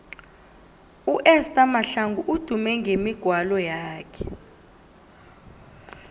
uesther mahlangu udume ngemigwalo yakhe